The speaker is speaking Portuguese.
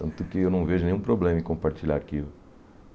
Tanto que eu não vejo nenhum problema em compartilhar arquivo.